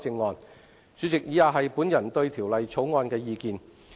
代理主席，以下是我對《條例草案》的意見。